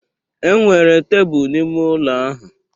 Enwere tebụl n'ime ụlọ ahụ